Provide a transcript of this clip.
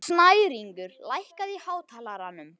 Snæringur, lækkaðu í hátalaranum.